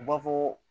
U b'a fɔ